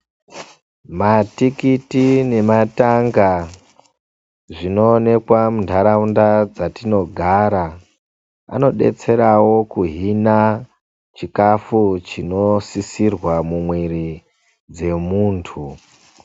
Matikiti nematanga zvinoonekwa mundaraunda dzatinogara anodetserawo kuhina chikafu chinosisirwa mumwiri dzemuntu.